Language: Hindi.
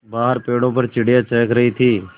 बाहर पेड़ों पर चिड़ियाँ चहक रही थीं